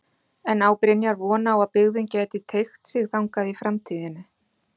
En á Brynjar von á að byggðin gæti teygt sig þangað í framtíðinni?